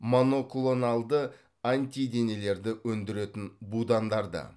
моноклоналды антиденелерді өндіретін будандарды